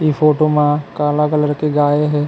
ए photo म काला colour के गाय हे।